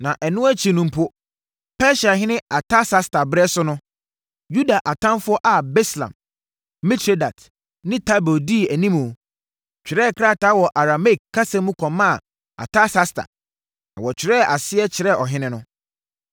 Na ɛno akyi no mpo, Persiahene Artasasta berɛ so no, Yuda atamfoɔ a Bislam, Mitredat ne Tabeel di animu, twerɛɛ krataa wɔ Arameike kasa mu kɔmaa Artasasta, na wɔkyerɛɛ aseɛ kyerɛɛ ɔhene no.